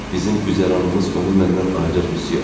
Bizim güzəranımız onu məndən ayırır, Msye.